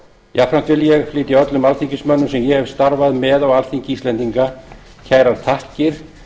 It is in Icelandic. jafnframt vil ég flytja öllum alþingismönnum sem ég hef starfað með á alþingi íslendinga kærar þakkir